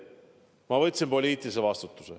Ma võtsin poliitilise vastutuse.